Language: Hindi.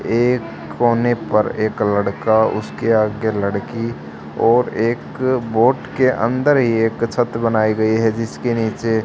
एक कोने पर एक लड़का उसके आगे लड़की और एक बोट के अंदर ही ये एक छत बनाई गई है जिसके नीचे--